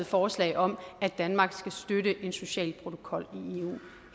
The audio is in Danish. forslag om at danmark skal støtte en social protokol i eu